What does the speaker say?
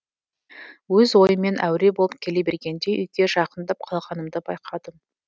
өз ойыммен әуре болып келе бергенде үйге жақындап қалғанымды байқадым